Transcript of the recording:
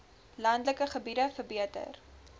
landelike gebiede verbeter